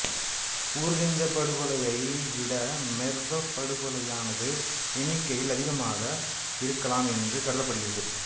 Urgench படுகொலையை விட Merv படுகொலையானது எண்ணிக்கையில் அதிகமாக இருக்கலாம் என்று கருதப்படுகிறது